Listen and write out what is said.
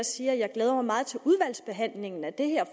sige at jeg glæder mig meget til udvalgsbehandlingen af det her